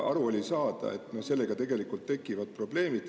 Aga oli aru saada, et meil tegelikult tekivad sellega probleemid.